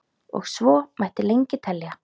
og svo mætti lengi telja.